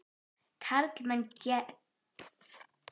Karlmenn grétu ekki á þeim bæ.